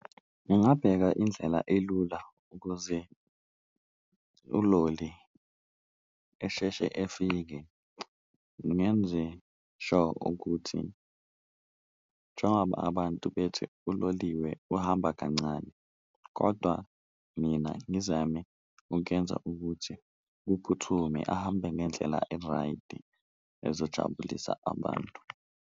Ngingabheka indlela elula ukuze uloli esheshe efike ngenze sure ukuthi njengoba abantu bethi uloliwe uhamba kancane, kodwa mina ngizame ukuyenza ukuthi uphuthume ahambe ngendlela e-right ezojabulisa abantu.